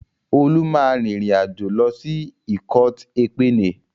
Olú máa rin ìrìn àjò lọ sí ikot-ekpene.